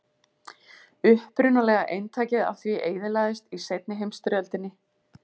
Upprunalega eintakið af því eyðilagðist í seinni heimsstyrjöldinni.